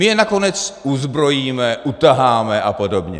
My je nakonec uzbrojíme, utaháme a podobně.